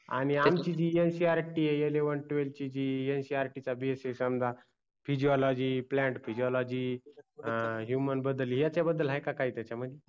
आणि आमची जी ncrt आहे eleven twelve ची जी ncrt च्या base आहे समजा physiology plant physiology human बदल याच्या बदल आहे का काही त्याच्या मध्ये